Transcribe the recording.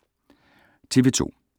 TV 2